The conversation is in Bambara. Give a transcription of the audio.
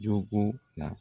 Jogo la.